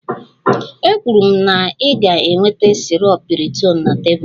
Ekwuru m na ị ga-eweta sirop piriton na tebụl